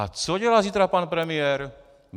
A co dělá zítra pan premiér?